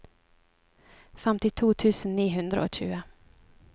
femtito tusen ni hundre og tjue